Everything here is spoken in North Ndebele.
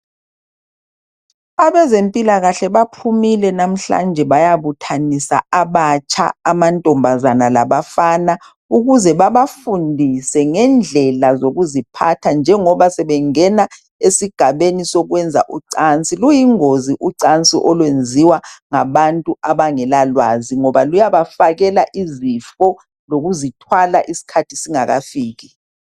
Abezempilakahle baphumile lamuhla. Bayabuthanisa abatsha, amantombazanalabafana. Ukuzebabafundise ngendlela zokuziphatha. Njengoba sebengena esigabeni sokwenza ucansi. Luyingozi ucansi olwenziwa ngabantu abangelalwazi. Ngoba luyabafakela izifo. Lokuzithwala isikhathi singakafiki.